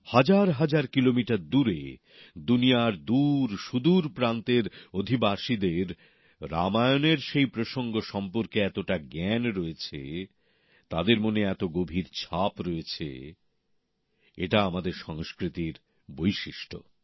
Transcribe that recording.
হাজারহাজার kilometre দূরে দুনিয়ার দূরসুদূর প্রান্তের অধিবাসীদের রামায়ণের সেই প্রসঙ্গ সম্পর্কে এতটা জ্ঞান রয়েছে তাদের মনে এত গভীর ছাপ রয়েছে এটা আমাদের সংস্কৃতির বিশিষ্টতা